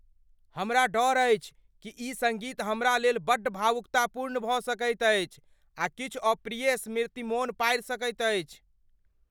हमरा डर अछि कि ई सङ्गीत हमरा लेल बड्ड भावुकतापूर्ण भऽ सकैत अछि आ किछु अप्रिय स्मृति मोन पाड़ि सकैत अछि।